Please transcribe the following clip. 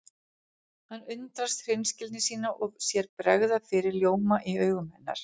Hann undrast hreinskilni sína og sér bregða fyrir ljóma í augum hennar.